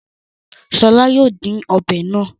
Ṣọl yóò dín ọbẹ̀ náà.